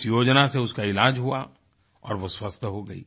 इस योजना से उसका इलाज हुआ और वो स्वस्थ हो गई